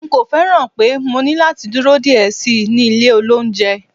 n ko fẹràn pe mo ní lati dúró diẹ sí ní ilé olounje